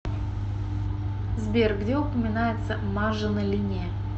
сбер где упоминается мажино линия